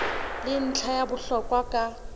ke ntlha ya bohlokwa ka